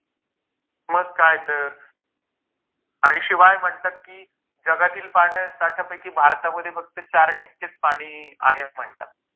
मग काय तर आणि शिवाय म्हणतात की जगातील पाणी साठ्यापैकी भारतामध्ये फक्त चार टक्केच पाणी आहे म्हणतात.